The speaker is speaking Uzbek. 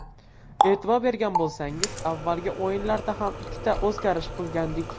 E’tibor bergan bo‘lsangiz, avvalgi o‘yinlarda ham ikkita o‘zgarish qilgandik.